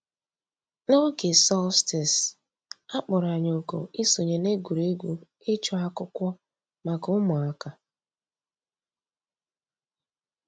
N'ǒgè solstice, a kpọ̀rọ̀ ànyị̀ òkù ìsọǹyé n'ègwè́ré́gwụ̀ ịchụ̀ àkụ̀kwò mǎká ǔ́mụ̀àkà.